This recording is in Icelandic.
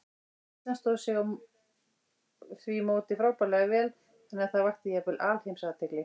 Ísland stóð sig á því móti frábærlega vel, þannig að það vakti jafnvel alheimsathygli.